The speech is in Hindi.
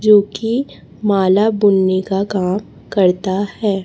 जोकि माला बुनने का काम करता है।